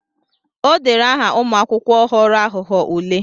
O dere aha ụmụakwụkwọ ghọrọ aghụghọ ule.